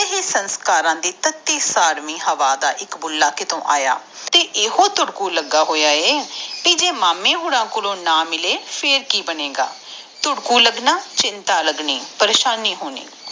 ਇਹ ਸੰਸਕਾਰ ਦੇ ਤਾਤੀ ਸਵਾਮੀ ਹਵਾ ਦਾ ਬੁੱਲ੍ਹਾ ਕਿਥੋਂ ਆਯਾ ਹੀ ਤੁੜਕੂ ਲਗਾ ਆ ਕਿ ਜੇ ਮਾਮੀ ਓਹਨਾ ਕੋਲੋਂ ਨਾ ਮਿਲੇ ਫੇਰ ਕਿ ਬਣੇਗਾ ਤੁੜਕੂ ਲਗਨ ਮਤਲਬ ਚਿੰਤਾ ਲਗਨਿ ਪਰੇਸ਼ਾਨੀ ਹੋਣੀ